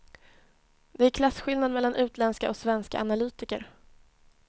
Det är klasskillnad mellan utländska och svenska analytiker.